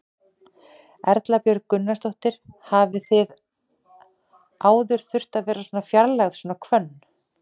Erla Björg Gunnarsdóttir: Hafið þið áður þurft að vera að fjarlægja svona hvönn?